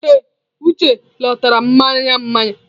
Ee, Uche lọtara mmanya mmanya.